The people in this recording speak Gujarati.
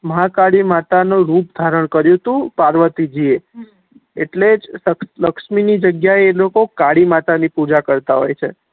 મહાકાળી માતા નું રૂપ ધારણ કરીયુ તુ પાર્વતીજી એ એટલે જ લક્ષ્મી ની જગ્યા એ એ લોકો કાળી માતા ની પૂજા કરતા હોય છે